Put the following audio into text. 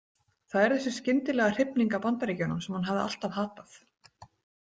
Það er þessi skyndilega hrifning af Bandaríkjunum sem hún hafði alltaf hatað.